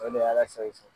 O de ye ala sago i sago